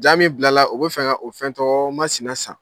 Jaa min bilala u b bɛ fɛ ka o fɛn tɔgɔ masna san.